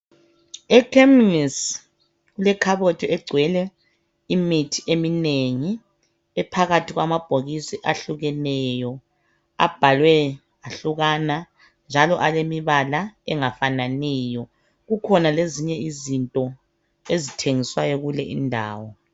Ekhemisi kulekhabothi egcwele imithi eminengi. Ephakathi kwamabhokisi ahlukeneyo. Abhalwe ahlukana, njalo alemibala, engafananiyo.. Kukhona njalo lezinye izinto, ezithengiswayo, kule indawo.